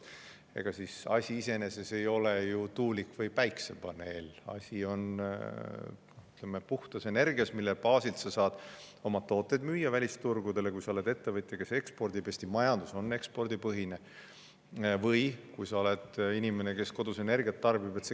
Ega asi iseenesest ei ole ju tuulikus või päikesepaneelis, asi on puhtas energias, mille baasilt sa saad oma tooteid müüa välisturgudele, kui sa oled ettevõtja, kes ekspordib – Eesti majandus on ekspordipõhine –, või kui sa oled inimene, kes kodus energiat tarbib.